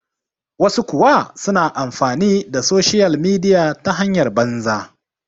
wasu kuwa suna amfani da soshiyal midiya ta hanyar banza